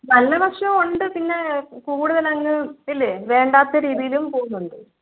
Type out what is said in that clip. നല്ല വശം ഉണ്ട് പിന്നെ കൂടുതൽ അങ്ങ് ഇല്ലേ വേണ്ടാത്ത രീതിയിലും പോകുന്നുണ്ട്